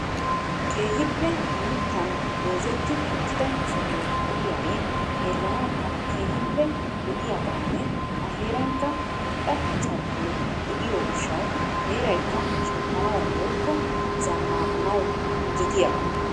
Keehippe mittan goozeti uttida sohoy de'iyaagee xeelanawukka keehippe lo"iyaaganne a heerankka irxxa carkkoy de'iyo gishshaw heeraykkka shemppanaw woykko zannaqanaw injjettiyaaga.